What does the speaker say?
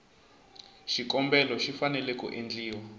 xikombelo xi fanele ku endliwa